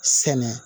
Sɛnɛ